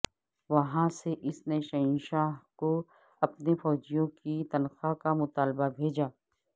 وہاں سے اس نے شہنشاہ کو اپنے فوجیوں کی تنخواہ کا مطالبہ بھیجا